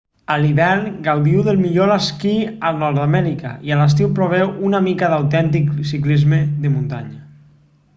a l'hivern gaudiu del millor esquí a nord-amèrica i a l'estiu proveu una mica d'autèntic ciclisme de muntanya